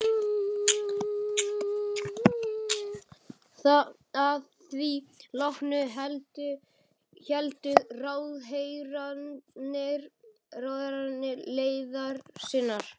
Að því loknu héldu ráðherrarnir leiðar sinnar.